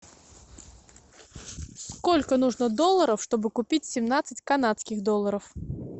сколько нужно долларов чтобы купить семнадцать канадских долларов